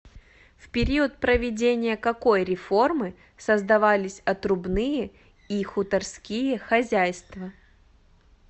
в период проведения какой реформы создавались отрубные и хуторские хозяйства